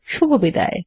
শুভবিদায়